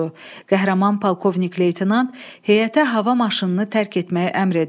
Qəhrəman polkovnik leytenant heyətə hava maşınını tərk etməyə əmr edir.